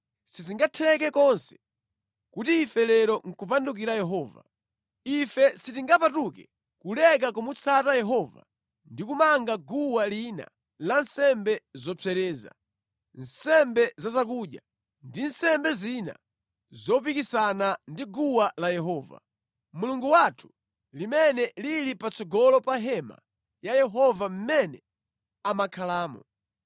“Sizingatheke konse kuti ife lero nʼkupandukira Yehova. Ife sitingapatuke kuleka kumutsata Yehova ndi kumanga guwa lina la nsembe zopsereza, nsembe za zakudya, ndi nsembe zina zopikisana ndi guwa la Yehova, Mulungu wathu limene lili patsogolo pa Hema ya Yehova mʼmene amakhalamo.”